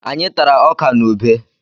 Anyị tara ọkà na ubé.